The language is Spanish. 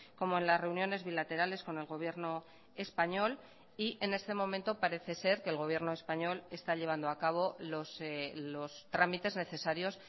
como en las reuniones bilaterales con el gobierno español y en este momento parece ser que el gobierno español está llevando a cabo los trámites necesarios